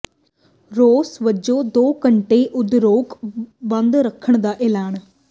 ਰੋਸ ਵਜੋਂ ਦੋ ਘੰਟੇ ਉਦਯੋਗ ਬੰਦ ਰੱਖਣ ਦਾ ਐਲਾਨ